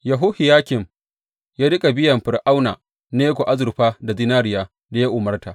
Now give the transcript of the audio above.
Yehohiyakim ya riƙa biyan Fir’auna Neko azurfa da zinariyar da ya umarta.